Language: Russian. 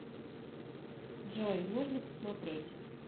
джой можно посмотреть